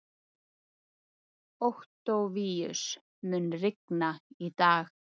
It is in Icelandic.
Októvíus, mun rigna í dag?